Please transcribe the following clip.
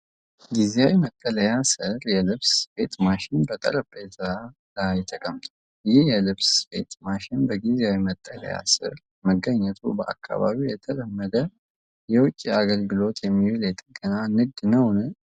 ጊዜያዊ መጠለያ ስር የልብስ ስፌት ማሽን በጠረጴዛ ላይ ተቀምጧል። ይህ የልብስ ስፌት ማሽን በጊዜያዊ መጠለያ ስር መገኘቱ በአካባቢው ለተለመደ የውጪ አገልግሎት የሚውል የጥገና ንግድ ነው?